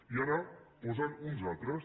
i ara en posen uns altres